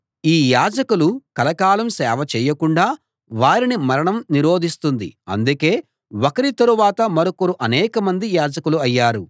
ఈ యాజకులు కలకాలం సేవ చేయకుండా వారిని మరణం నిరోధిస్తుంది అందుకే ఒకరి తరువాత మరొకరుగా అనేకమంది యాజకులు అయ్యారు